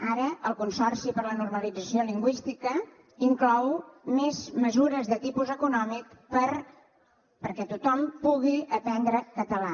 ara el consorci per a la normalització lingüística inclou més mesures de tipus econòmic perquè tothom pugui aprendre català